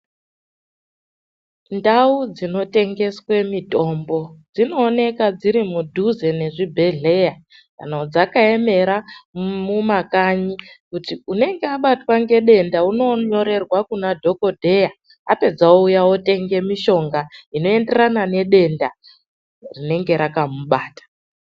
Ndau dzinotengeswe mitombo, dzinooneka dziri mudhuze nemuzvibhedhlera, kana dzakaemera mumakanyi kuti unenge abatwa ngedenda unonyorerwa kuna dhokodheya. Apedza ouya otenga mitombo inoenderana nedenda rinenge rakamubata.